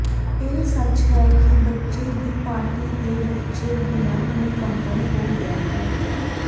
ਇਹ ਸੱਚ ਹੈ ਕਿ ਬੱਚੇ ਦੀ ਪਾਰਟੀ ਦੇ ਬੱਚੇ ਬਿਨਾ ਮੁਕੰਮਲ ਹੋ ਗਿਆ ਹੈ